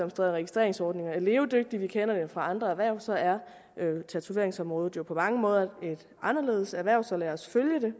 registreringsordninger er levedygtige vi kender det fra andre erhverv så er tatoveringsområdet jo på mange måder et anderledes erhverv så lad os følge det